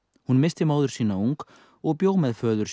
hún missti móður sína ung og bjó með föður